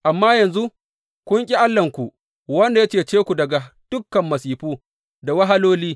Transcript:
Amma yanzu kun ƙi Allahnku wanda ya cece ku daga dukan masifu da wahaloli.